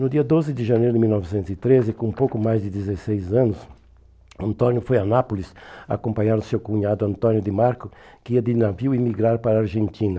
No dia doze de janeiro de mil novecentos e treze, com pouco mais de dezesseis anos, Antônio foi a Nápoles acompanhar o seu cunhado Antônio de Marco, que ia de navio emigrar para a Argentina.